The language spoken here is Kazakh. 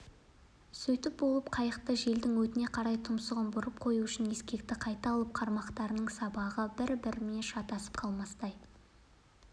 сөйтіп болып қайықты желдің өтіне қарай тұмсығын бұрып қою үшін ескекті қайта алып қармақтардың сабағы бір-бірімен шатасып қалмастай